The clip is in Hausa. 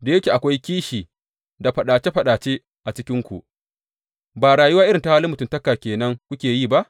Da yake akwai kishi da faɗace faɗace a cikinku, ba rayuwa irin ta halin mutuntaka ke nan kuke yi ba?